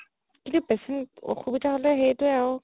কিন্তু patient অসুবিধা হ'লে সেইটোৱে আৰু